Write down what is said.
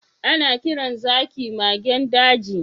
Ana kiran zaki magen daji.